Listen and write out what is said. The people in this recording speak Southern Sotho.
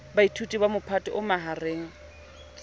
baithuti ba mophato o mahareng